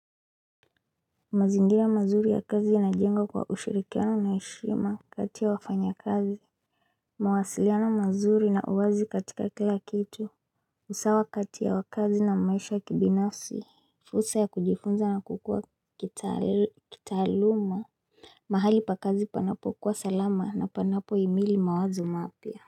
Mazingira mazuri ya kazi yanajengwa kwa ushirikiano na heshima kati ya wafanya kazi mawasiliano mazuri na uwazi katika kila kitu usawa kati ya wakazi na maisha kibinafsi fursa ya kujifunza na kukua kitaaluma mahali pa kazi panapo kuwa salama na panapo imili mawazo mapya.